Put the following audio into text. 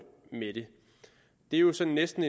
med det det er jo sådan næsten